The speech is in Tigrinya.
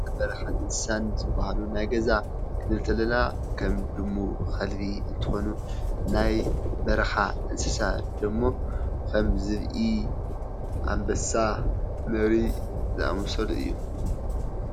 ናይ በረኻ ን እንስሳን ዝበሃሉ ናይ ገዛ ክንብል ተለና ከም ድሙ ኸልቢ እንትኾኑ ናይ በረኻ እንስሳ ደሞ ኸም ዝብኢ፣ ኣንበሳ ፣ነብሪ ዘኣመሰሉ እዮም፡፡